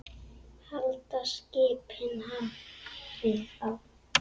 Halda skipin hafið á.